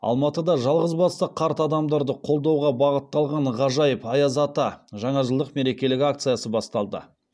алматыда жалғызбасты қарт адамдарды қолдауға бағытталған ғажайып аяз ата жаңажылдық мерекелік акциясы басталды